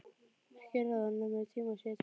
Ekki er ráð, nema í tíma sé tekið